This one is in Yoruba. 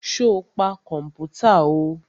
Sọ pa kọ̀mpútà o?